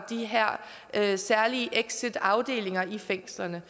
de her særlige exitafdelinger i fængslerne